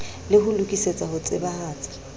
le ho lokisetsa ho tsebahatsa